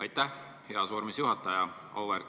Aitäh, heas vormis juhataja!